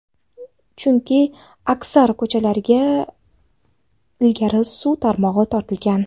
Chunki aksar ko‘chalarga ilgari suv tarmog‘i tortilgan.